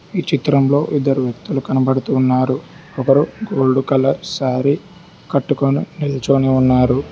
ఈ చిత్రంలో ఇద్దరు వ్యక్తులు కనబడుతు ఉన్నారు ఒకరు గోల్డ్ కలర్ సారీ కట్టుకొని నిల్చోని ఉన్నారు.